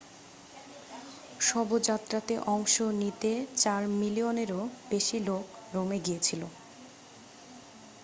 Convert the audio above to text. শবযাত্রাতে অংশ নিতে চার মিলিয়নেরও বেশি লোক রোমে গিয়েছিল